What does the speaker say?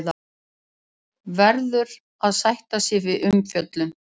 Verður að sætta sig við umfjöllun